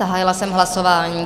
Zahájila jsem hlasování.